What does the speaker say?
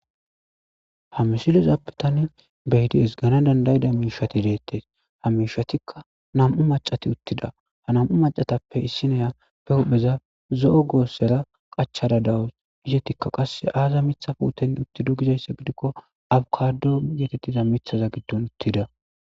Ha mishilezappetane beydi es gana dandayida miishati deettes ha mishatikka nam'u macati uttida ha nam7u macatappe issineyappe huhpheza zo'o goossera qachada dawus izetikka qas aaza mitha puuten uttido gizayssa gidikko abkado yetettiza mithaza giddon uttida